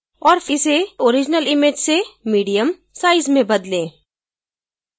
और इसे original image से medium size में बदलें